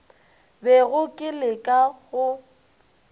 bego ke le ka go